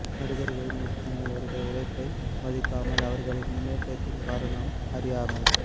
நடிகர்களின் இத்தனை வருட உழைப்பை மதிக்காமல் அவர்களின் முன்னேற்றத்தின் காரணம் அறியாமல்